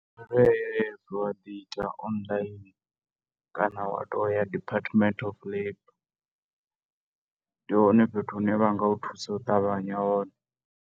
U_I_F wa ḓi ita online, kana wa to ya department of labour ndi hone fhethu hu ne vha nga u thusa u ṱavhanya hone.